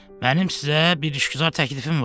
Mənim sizə bir işgüzar təklifim var.